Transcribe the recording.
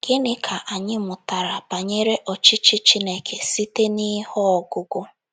Gịnị Ka Anyị Mụtara Banyere Ọchịchị Chineke Site n’ihe ọgụgụ...